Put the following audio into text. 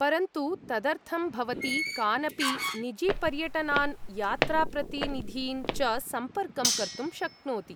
परन्तु, तदर्थं भवती कानपि निजीपर्यटनान्, यात्राप्रतिनिधीन् च सम्पर्कं कर्तुं शक्नोति।